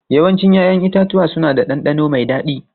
Yawancin 'ya'yan itatuwa suna da ɗanɗano mai dadi.